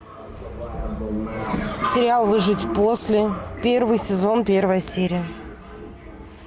сериал выжить после первый сезон первая серия